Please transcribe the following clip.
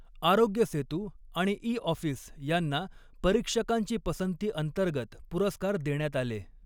आरोग्यसेतु आणि ईऑफिस यांना परीक्षकांची पसंती अंतर्गत पुरस्कार देण्यात आले.